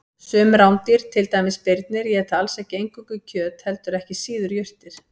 Sum rándýr, til dæmis birnir, éta alls ekki eingöngu kjöt heldur ekki síður jurtir.